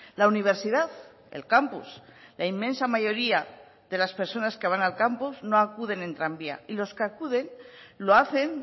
la universidad el campus la inmensa mayoría de las personas que van al campus no acuden en tranvía y los que acuden lo hacen